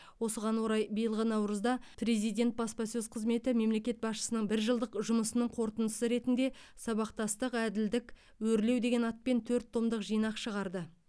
осыған орай биылғы наурызда президент баспасөз қызметі мемлекет басшысының бір жылдық жұмысының қорытындысы ретінде сабақтастық әділдік өрлеу деген атпен төрт томдық жинақ шығарды